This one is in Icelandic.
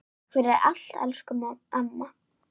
Takk fyrir allt, elsku amma.